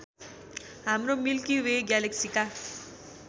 हाम्रो milky way ग्यालेक्सीका